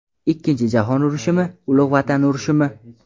Ikkinchi jahon urushimi, Ulug‘ vatan urushimi?